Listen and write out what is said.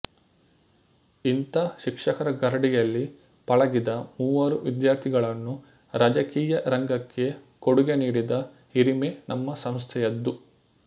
ಇಂಥ ಶಿಕ್ಷಕರ ಗರಡಿಯಲ್ಲಿ ಪಳಗಿದ ಮೂವರು ವಿದ್ಯಾರ್ಥಿಗಳನ್ನು ರಾಜಕೀಯ ರಂಗಕ್ಕೆ ಕೊಡುಗೆ ನೀಡಿದ ಹಿರಿಮೆ ನಮ್ಮ ಸಂಸ್ಥೆಯದ್ದು